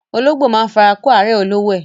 Ológbò máa ń fara kó árẹ̀ olówó ẹ.